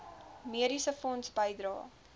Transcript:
mediese fonds bydrae